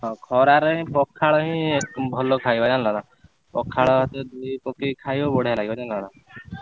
ହଁ ଖରାରେ ପଖାଳ ହିଁ ଭଲ ଖାଇବା ଜାଣିଲ ନା ପଖାଳ ଭାତ ଦହି ପକେଇ ଖାଇବ ବଡିଆ ଲାଗିବ ଜାଣିଲ ନା?